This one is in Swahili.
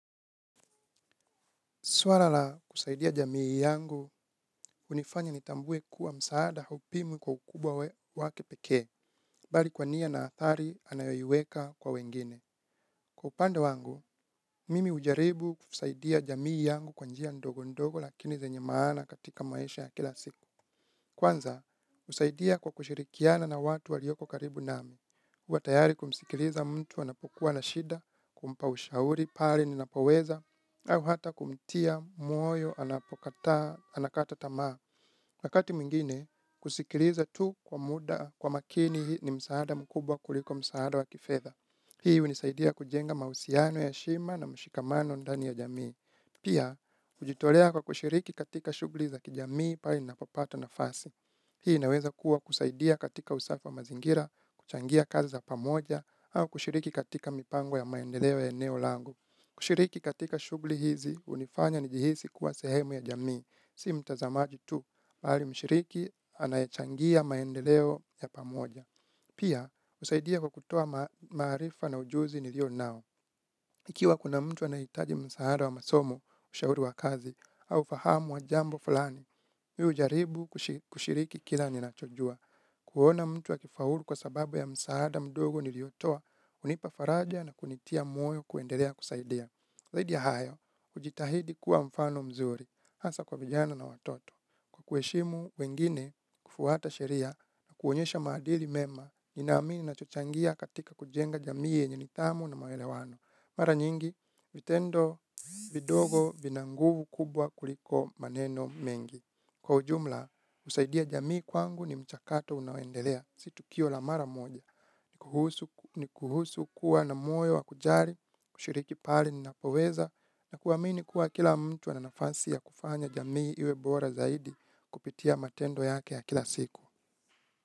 Swala la kusaidia jamii yangu hunifanya nitambue kuwa msaada haupimwi kwa ukubwa wake pekee bali kwa nia na athari anayoiweka kwa wengine. Kwa upande wangu mimi hujaribu kusaidia jamii yangu kwa njia ndogo ndogo lakini zenye maana katika maisha ya kila siku. Kwanza husaidia kwa kushirikiana na watu walioko karibu nami. Huwa tayari kumsikiliza mtu anapokuwa na shida kumpa ushauri pale ninapoweza au hata kumtia moyo anapokataa anakata tamaa. Wakati mwingine kusikiliza tu kwa muda kwa makini ni msaada mkubwa kuliko msaada wa kifedha. Hii hunisaidia kujenga mahusiano ya heshima na mshikamano ndani ya jamii. Pia hujitolea kwa kushiriki katika shughli za kijamii pale ninapopata nafasi. Hii inaweza kuwa kusaidia katika usafi wa mazingira kuchangia kazi za pamoja au kushiriki katika mipango ya maendeleo ya eneo langu. Kushiriki katika shughli hizi hunifanya nijihisi kuwa sehemu ya jamii si mtazamaji tu bali mshiriki anayechangia maendeleo ya pamoja. Pia husaidia kwa kutoa maarifa na ujuzi nilio nao. Ikiwa kuna mtu anahitaji msaada wa masomou shauri wa kazi au ufahamu wa jambo fulani mimi hujaribu kushiriki kila ninachojua. Kuona mtu akifaulu kwa sababu ya msaada mdogo niliotoa hunipa faraja na kunitia moyo kuendelea kusaidia. Zaidi ya hayo hujitahidi kuwa mfano mzuri hasa kwa vijana na watoto. Kwa kuheshimu wengine kufuata sheria na kuonyesha madili mema ninaamini nachochangia katika kujenga jamii yenye nidhamu na maelewano. Mara nyingi vitendo vidogo vina nguvu kubwa kuliko maneno mengi. Kwa ujumla husaidia jamii kwangu ni mchakato unaoendelea si tukio la mara moja. Ni kuhusu kuwa na moyo wa kujali kushiriki pale ninapoweza na kuamini kuwa kila mtu ana nafasi ya kufanya jamii iwe bora zaidi kupitia matendo yake ya kila siku.